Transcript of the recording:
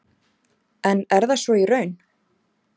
En er það svo í raun?